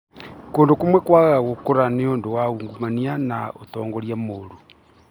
Kũndũ kũmwe kwagaga gũkũra nĩũndũ wa ungumania na ũtongoria mũũru